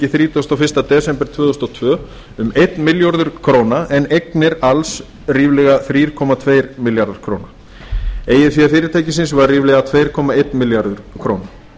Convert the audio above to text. þrítugasta og fyrsta desember tvö þúsund og tvö um einn milljarður króna en eignir alls ríflega þrjú komma tveir milljarðar króna eigið fé fyrirtækisins var ríflega tvö komma einn milljarður króna